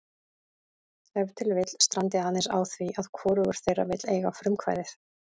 Ef til vill strandi aðeins á því að hvorug þeirra vill eiga frumkvæðið.